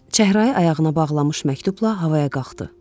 Və çəhrayı ayağına bağlamış məktubla havaya qalxdı.